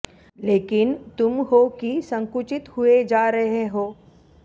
लेकिन तुम हो कि संकुचित हुए जा रहे हो